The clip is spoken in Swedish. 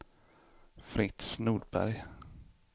Fritz Nordberg